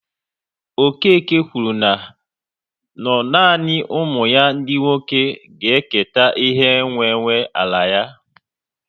Okeke kwuru na no nanị ụmụ ya ndị nwoke ga-eketa ihe nwe nwe ala ya